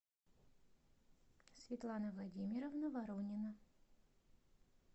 светлана владимировна воронина